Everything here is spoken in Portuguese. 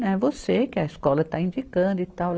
É você que a escola está indicando e tal.